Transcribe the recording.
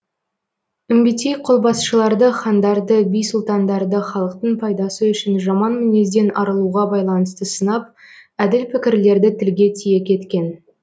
үмбетей қолбасшыларды хандарды би сұлтандарды халықтың пайдасы үшін жаман мінезден арылуға байланысты сынап әділ пікірлерді тілге тиек еткен